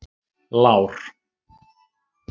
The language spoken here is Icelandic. Lár